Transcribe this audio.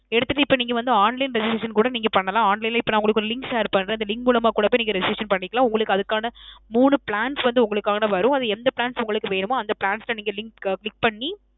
எடுத்துட்டு இப்ப நீங்க வந்து online registration கூட நீங்க பண்ணலாம். online லேயே இப்போ நான் ஒரு link share பண்றேன். அந்த link மூலமா கூட பொய் நீங்க registration பண்ணிக்கலாம். உங்களுக்கு அதுக்கான மூணு plans வந்து உங்களுக்கானது வரும். அது எந்த plans உங்களுக்கு வேணுமோ அந்த plans ல நீங்க link click பண்ணி